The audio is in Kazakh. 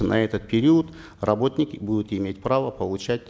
на этот период работники будут иметь право получать